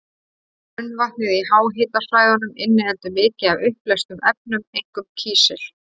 Grunnvatnið í háhitasvæðunum inniheldur mikið af uppleystum efnum, einkum kísil.